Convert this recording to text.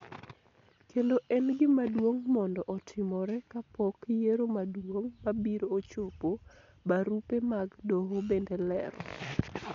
kendo en gima duong' mondo otimore kapok yiero maduong' mabiro ochopo, barupe mag doho bende lero.